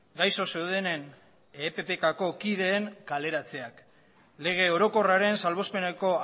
gaixo zeundenen eppkako kideen kaleratzeak lege orokorraren salbuespeneko